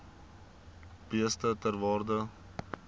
beeste ter waarde